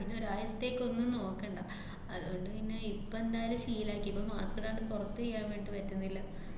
പിന്നെ ഒരായത്തേയ്ക്കൊന്നും നോക്കണ്ട. ആഹ് അതുകൊണ്ട് പിന്നെ ഇപ്പന്തായാലും ശീലാക്കി. ഇപ്പ mask ഇടാണ്ട് പുറത്തീയ്യാന്‍ വേണ്ടീട്ട് പറ്റുന്നില്ല.